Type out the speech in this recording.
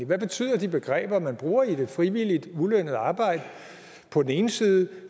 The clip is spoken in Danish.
hvad betyder de begreber man bruger nemlig frivilligt ulønnet arbejde på den ene side og